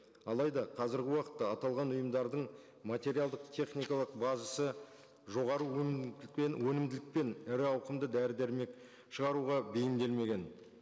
алайда қазіргі уақытта аталған ұйымдардың материалдық техникалық базасы жоғары өнімдік пен өнімділік пен ірі ауқымды дәрі дәрмек шығаруға бейімделмеген